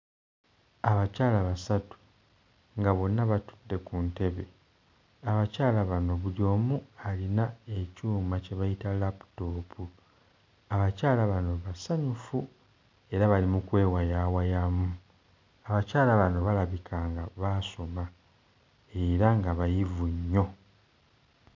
Abakyala basatu nga bonna batudde ku ntebe. Abakyala bano buli omu alina ekyuma kye bayita laaputoopu. Abakyala bano basanyufu era bali mu kwewayaawayaamu. Abakyala bano balabika nga baasoma era nga bayivu nnyo.